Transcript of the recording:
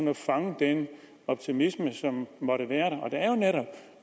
at fange den optimisme som måtte